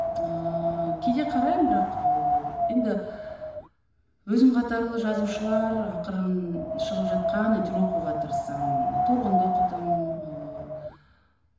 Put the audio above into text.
ыыы кейде қараймын бірақ ыыы енді өзім қатарлы жазушылар ақырын шығып жатқан әйтеуір оқуға тырысам торғынды оқыдым ыыы